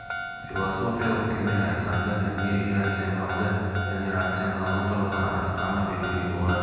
философиялық тілмен айтқанда дінге иррационалды және рационалды тұрғыдан анықтама беруге болады